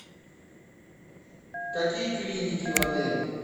какие клиники в отеле